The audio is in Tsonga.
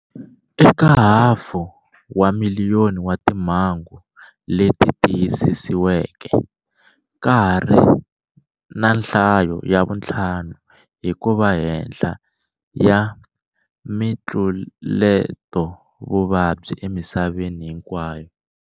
Eka hafu ya miliyoni wa timhangu leti tiyisisiweke, ka hari na nhlayo ya vuntlhanu hi kuva henhla ya mitluletovuvabyi emisaveni hinkwayo.